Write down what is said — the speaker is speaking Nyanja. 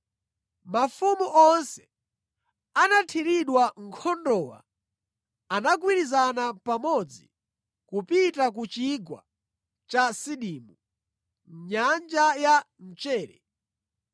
Mafumu onse anathiridwa nkhondowa anagwirizana pamodzi kupita ku Chigwa cha Sidimu (Nyanja ya Mchere).